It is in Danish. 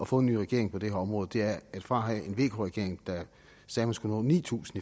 få en ny regering på det her område er at fra at have en vk regering der sagde man skulle nå ni tusind